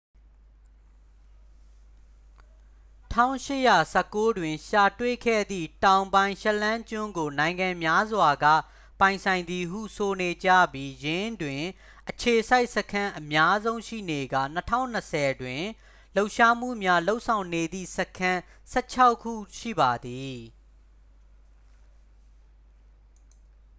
1819 တွင် ရှာတွေ့ခဲ့သည့် တောင်ပိုင်း ရှက်လန်းကျွန်းကို နိုင်ငံများစွာက ပိုင်ဆိုင်သည်ဟု ဆိုနေကြပြီး ယင်းတွင် အခြေစိုက်စခန်းအများဆုံးရှိနေကာ 2020တွင် လှုပ်ရှားမှုများလုပ်ဆောင်နေသည့် စခန်း တစ်ဆယ့်ခြောက်ခု ရှိပါသည်